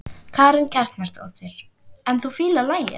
Karen Kjartansdóttir: En þú fílar lagið?